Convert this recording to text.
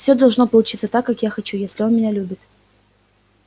всё должно получиться так как я хочу если он меня любит